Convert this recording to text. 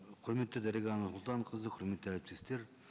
құрметті дариға нұрсұлтанқызы құрметті әріптестер